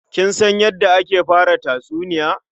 Kin san yadda ake fara tatsuniya?